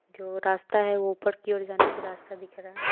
जो रास्ता है वह ऊपर की ओर जाने की रास्ता दिख रहा है।